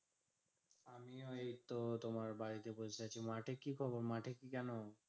আমি ওই তো তোমার বাড়িতে বসে আছি। মাঠে কি খবর? মাঠে কি কেন?